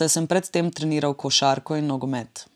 saj sem pred tem treniral košarko in nogomet.